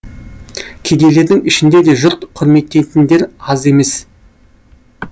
кедейлердің ішінде де жұрт құрметтейтіндер аз емес